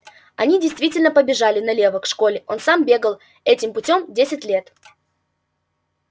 они действительно побежали налево к школе он сам бегал этим путём десять лет